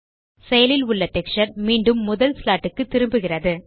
செயலில் உள்ள டெக்ஸ்சர் மீண்டும் முதல் ஸ்லாட் க்கு திரும்புகிறது